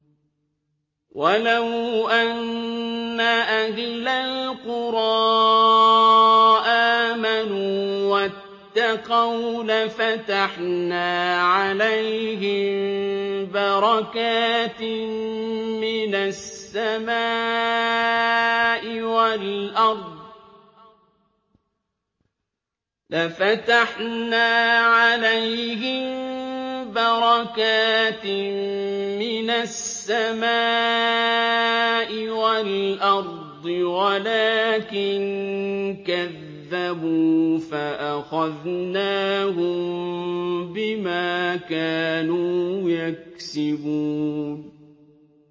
وَلَوْ أَنَّ أَهْلَ الْقُرَىٰ آمَنُوا وَاتَّقَوْا لَفَتَحْنَا عَلَيْهِم بَرَكَاتٍ مِّنَ السَّمَاءِ وَالْأَرْضِ وَلَٰكِن كَذَّبُوا فَأَخَذْنَاهُم بِمَا كَانُوا يَكْسِبُونَ